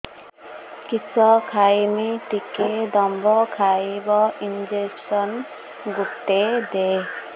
କିସ ଖାଇମି ଟିକେ ଦମ୍ଭ ଆଇବ ଇଞ୍ଜେକସନ ଗୁଟେ ଦେ